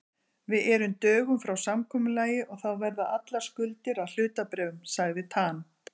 Við erum dögum frá samkomulagi og þá verða allar skuldir að hlutabréfum, sagði Tan.